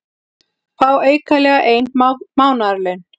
Fá aukalega ein mánaðarlaun